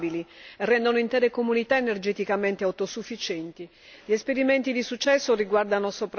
Gli esperimenti di successo riguardano soprattutto alcune isole danesi che hanno mostrato l'efficacia di questo approccio.